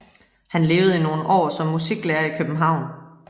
Han levede i nogle år som musiklærer i København